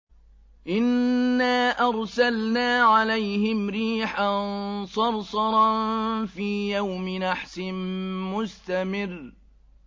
إِنَّا أَرْسَلْنَا عَلَيْهِمْ رِيحًا صَرْصَرًا فِي يَوْمِ نَحْسٍ مُّسْتَمِرٍّ